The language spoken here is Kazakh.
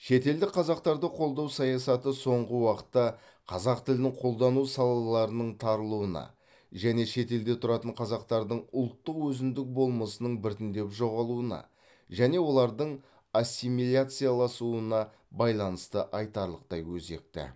шетелдік қазақтарды қолдау саясаты соңғы уақытта қазақ тілін қолдану салаларының тарылуына және шетелде тұратын қазақтардың ұлттық өзіндік болмысының біртіндеп жоғалуына және олардың ассимиляцияласуына байланысты айтарлықтай өзекті